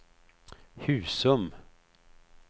Husum